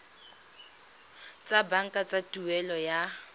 tsa banka tsa tuelo ya